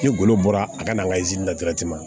Ni golo bɔra a kana an ka ma